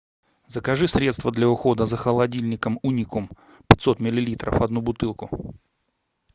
закажи средство для ухода за холодильником уникум пятьсот миллилитров одну бутылку